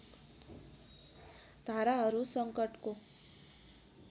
धाराहरू सङ्कटको